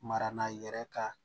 Mara yɛrɛ ka